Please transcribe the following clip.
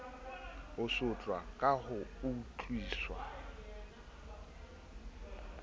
ho sotlwa ka ho utlwiswa